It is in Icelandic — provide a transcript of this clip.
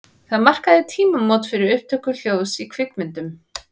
Það markaði tímamót fyrir upptöku hljóðs í kvikmyndum.